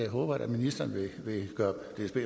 håber jeg ministeren vil gøre